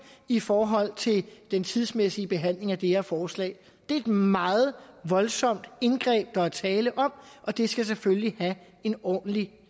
i forhold til den tidsmæssige behandling af det her forslag det er et meget voldsomt indgreb der er tale om og det skal selvfølgelig have en ordentlig